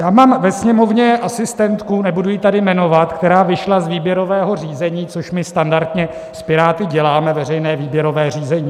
Já mám ve Sněmovně asistentku, nebudu ji tady jmenovat, která vyšla z výběrového řízení, což my standardně s Piráty děláme - veřejné výběrové řízení.